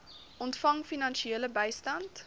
ontvang finansiële bystand